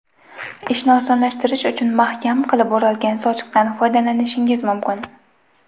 Ishni osonlashtirish uchun mahkam qilib o‘ralgan sochiqdan foydalanishingiz mumkin.